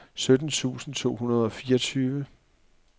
sytten tusind to hundrede og fireogtyve